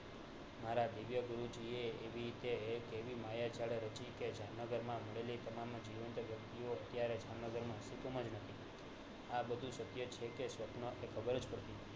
મારા દિવ્ય ગુરુજીએ એવી રીતે એવી માયા જાળ રચી કે જામનગરમાં આ બધું સત્ય છેકે સપના કયી ખબરજ પડતી નથી